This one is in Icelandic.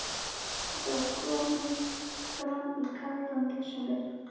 Það er komið fram í kaldan desember.